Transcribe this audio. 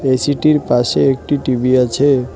এসিটির পাশে একটি টি_ভি আছে।